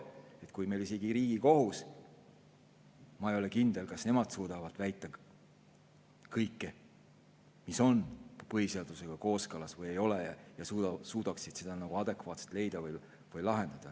Ma ei ole kindel, kas isegi Riigikohus suudab väita kõige kohta, et kas see on põhiseadusega kooskõlas või ei ole, ja et nad suudaksid seda adekvaatselt lahendada.